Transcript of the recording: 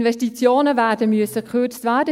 Die Investitionen werden gekürzt werden müssen.